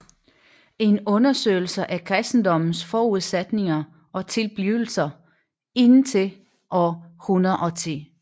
En undersøgelse af kristendommens forudsætninger og tilblivelse indtil år 110